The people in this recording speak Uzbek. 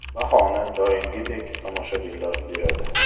Bahoni doimgidek tomoshabinlar beradi.